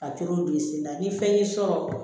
Ka tulu bi sen na ni fɛn y'i sɔrɔ